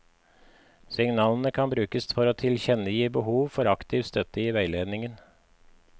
Signalene kan brukes for å tilkjennegi behov for aktiv støtte i veiledningen.